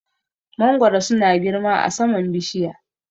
Mangoro su na girma a saman bishiya